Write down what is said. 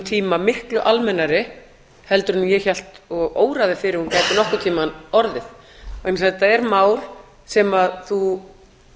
tíma miklu almennari heldur en ég hélt og óraði fyrir að hún gæti nokkurn tíma orðið vegna þess að þetta er mál sem þú